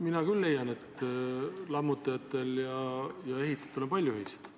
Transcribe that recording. Mina küll leian, et lammutajatel ja ehitajatel on palju ühist.